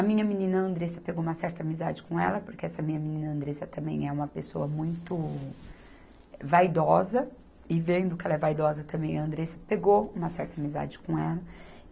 A minha menina Andressa pegou uma certa amizade com ela, porque essa minha menina Andressa também é uma pessoa muito vaidosa, e vendo que ela é vaidosa também, a Andressa pegou uma certa amizade com ela.